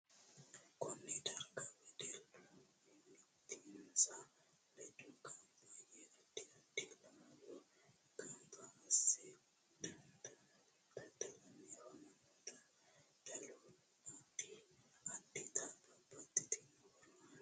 Konne darga wedellu mimitinsa ledo ganba yee addi addi laalo ganba ase dada'lanni afamanno dadalu addi addita babbaxitino horo aanno